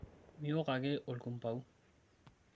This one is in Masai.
miok ake olkumbau